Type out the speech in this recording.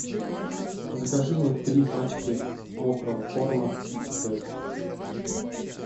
закажи мне три пачки мокрого корма китикет